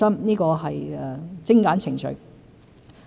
這是精簡程序。